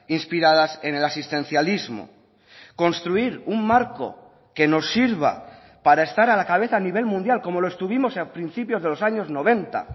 inspiradas en el asistencialismo construir un marco que nos sirva para estar a la cabeza a nivel mundial como lo estuvimos a principios de los años noventa